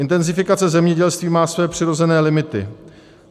Intenzifikace zemědělství má svoje přirozené limity.